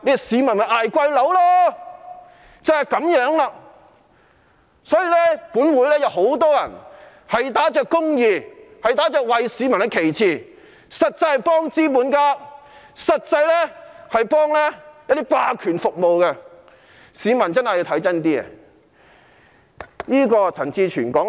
所以，本會有很多議員打着公義、打着為市民的旗幟，實際上是幫資本家、服務霸權的，市民真的要看清楚。